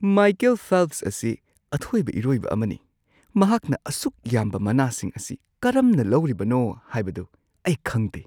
Michael Phelps ꯑꯁꯤ ꯑꯊꯣꯏꯕ ꯏꯔꯣꯏꯕ ꯑꯃꯅꯤ꯫ ꯃꯍꯥꯛꯅ ꯑꯁꯨꯛ ꯌꯥꯝꯕ ꯃꯅꯥꯁꯤꯡ ꯑꯁꯤ ꯀꯔꯝꯅ ꯂꯧꯔꯤꯕꯅꯣ ꯍꯥꯏꯕꯗꯨ ꯑꯩ ꯈꯪꯗꯦ!